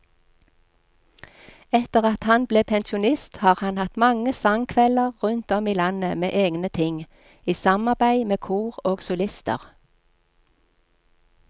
Etter at han ble pensjonist har han hatt mange sangkvelder rundt om i landet med egne ting, i samarbeid med kor og solister.